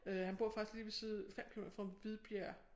Øh han bor faktisk lige ved side 5 kilometer fra Hvidbjerg